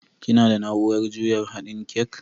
Kina da naurar juya haɗin kek?